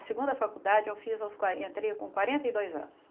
A segunda faculdade eu fiz aos entrei com quarenta e dois anos.